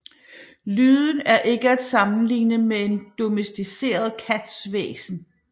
Lyden er ikke at sammenligne med en domesticeret kats hvæsen